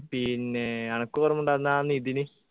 പിന്നെ അനക്കോർമയുണ്ടോ അന്നാ നിതിന്